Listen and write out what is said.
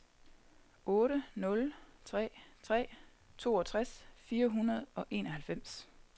otte nul tre tre toogtres fire hundrede og enoghalvfems